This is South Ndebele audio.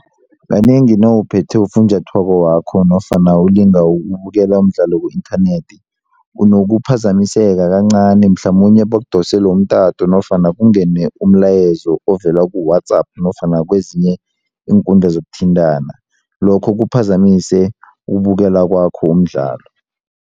Kanengi nawuphethe ufunjathwako wakho nofana ulinga ukubukela umdlalo ku-inthanethi unokuphazamiseka kancani mhlamunye bakudosele umtato nofana kungene umlayezo ovela ku-WhatsApp nofana kwezinye iinkundla zokuthintana lokho kuphazamise ukubukela kwakho umdlalo.